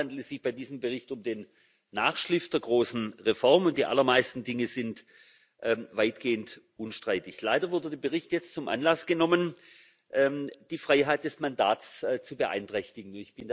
In der Tat handelt es sich bei diesem Bericht um den Nachschliff der großen Reformen, und die allermeisten Dinge sind weitgehend unstreitig. Leider wurde der Bericht jetzt zum Anlass genommen, die Freiheit des Mandats zu beeinträchtigen.